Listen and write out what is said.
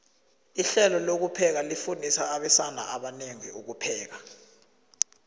ihlelo lokupheka lifundisa abesana abanengi ukupheka